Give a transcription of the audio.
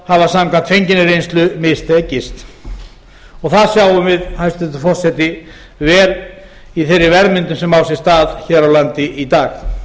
hafa samkvæmt fenginni reynslu mistekist það sjáum við hæstvirtur forseti vel í þeirri verðmyndun sem á sér stað hér á landi í dag